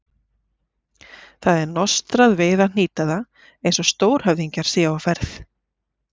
Það er nostrað við að hnýta það eins og stórhöfðingjar séu á ferð.